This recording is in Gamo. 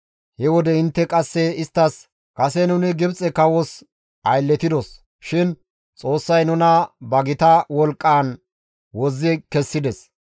He wode intte qasse isttas, «Kase nuni Gibxe kawos aylletidos shin Xoossay nuna ba gita wolqqaan wozzi kessides.